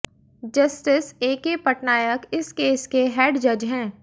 justice A K Patnaik इस case के head जज हैं